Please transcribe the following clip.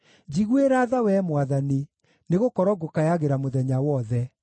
Njiguĩra tha, Wee Mwathani, nĩgũkorwo ngũkayagĩra mũthenya wothe.